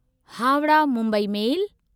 Howrah Mumbai मेल